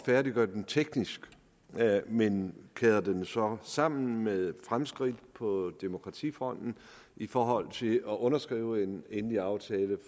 færdiggøre den teknisk men kæder den jo så sammen med fremskridt på demokratifronten i forhold side at underskrive en endelig aftale